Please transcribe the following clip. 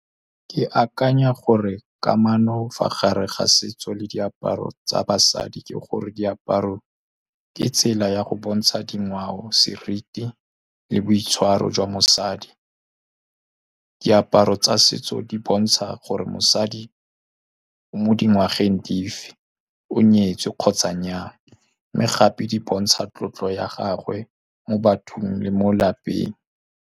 Ke akanya gore kamano fa gare ga setso le diaparo tsa basadi ke gore diaparo ke tsela ya go bontsha dingwao, seriti le boitshwaro jwa mosadi. Diaparo tsa setso di bontsha gore mosadi o mo dingwageng di fe, o nyetswe kgotsa nnyaa, mme gape di bontsha tlotlo ya gagwe mo bathong le mo lapeng.